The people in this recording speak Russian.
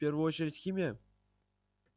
в первую очередь химия